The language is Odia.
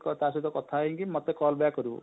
ତା ସହିତ କଥା ହେଇ କି ମତେ call back କରିବ,